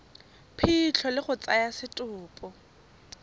phitlho le go tsaya setopo